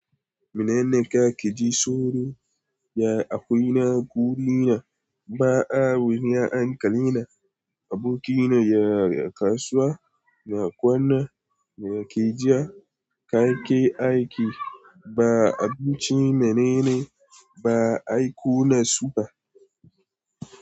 Menene kake ji tsoro? Ya akuna gunina ba'a wuya ankali na, abokina yana kasuwa na kwana, me kake ji kake aiki ba abinci menene ba aiko nasu ba.